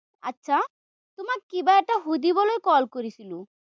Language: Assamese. আটছা, তোমাক কিবা এটা সুধিবলৈ call কৰিছিলো।